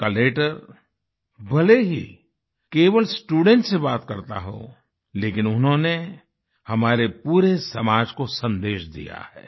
उनका लेटर भले ही केवल स्टूडेंट्स से बात करता हो लेकिन उन्होंने हमारे पूरे समाज को सन्देश दिया है